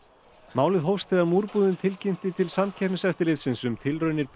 málið hófst þegar tilkynnti til Samkeppniseftirlitsins um tilraunir